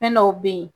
Fɛn dɔw be yen